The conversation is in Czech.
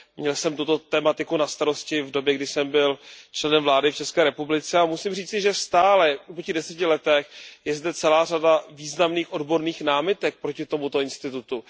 Měl jsem tuto tematiku na starosti v době, kdy jsem byl členem vlády v České republice, a musím říci, že stále i po těch deseti letech je zde celá řada významných odborných námitek proti tomuto institutu.